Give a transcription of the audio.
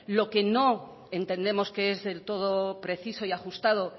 lo que no entendemos que es del todo preciso y ajustado